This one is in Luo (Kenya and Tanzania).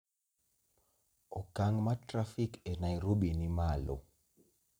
Okang' ma trafik e Nairobi ni malo